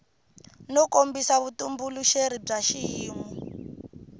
no kombisa vutitumbuluxeri bya xiyimo